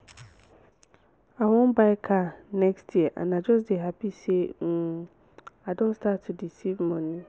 i wan buy car next year and i just dey happy say um i don start to dey save money